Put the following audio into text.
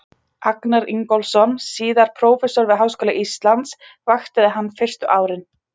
Agnar Ingólfsson, síðar prófessor við Háskóla Íslands, vaktaði hann fyrstu árin.